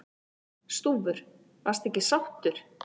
Stúfur: Varstu ekki sáttur?